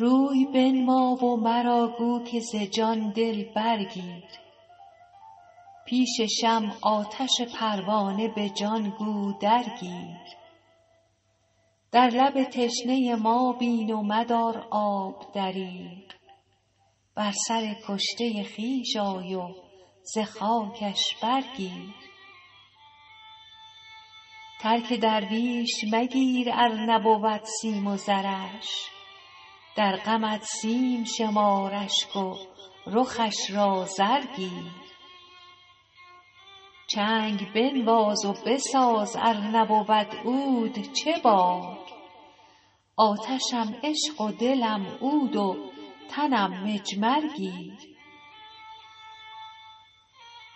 روی بنما و مرا گو که ز جان دل برگیر پیش شمع آتش پروانه به جان گو درگیر در لب تشنه ما بین و مدار آب دریغ بر سر کشته خویش آی و ز خاکش برگیر ترک درویش مگیر ار نبود سیم و زرش در غمت سیم شمار اشک و رخش را زر گیر چنگ بنواز و بساز ار نبود عود چه باک آتشم عشق و دلم عود و تنم مجمر گیر